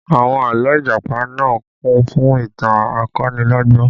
Àwọn àlọ́ Ìjàpá náà kún fún ìtàn akonilọ́gbọ́n